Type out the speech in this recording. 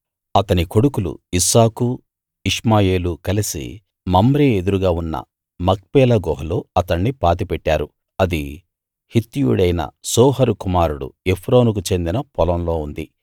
అతని కొడుకులు ఇస్సాకూ ఇష్మాయేలూ కలసి మమ్రే ఎదురుగా ఉన్న మక్పేలా గుహలో అతణ్ణి పాతి పెట్టారు అది హిత్తీయుడైన సోహరు కుమారుడు ఎఫ్రోనుకు చెందిన పొలంలో ఉంది